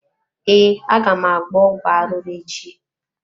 Ee, aga m agba ọgwụ arụrụ echi.